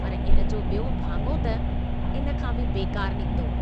पर इन जो ॿियों भाङो त इन खां बि बेकार निकितो।